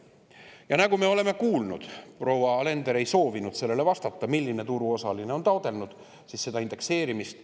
Ja nagu me kuulsime, proua Alender ei soovinud vastata, milline turuosaline on taotlenud seda indekseerimist.